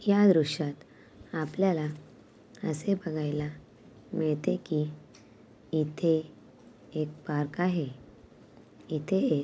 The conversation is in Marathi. या दृश्यात आपल्याला असे बघायला मिळते कि येथे एक पार्क आहे येथे--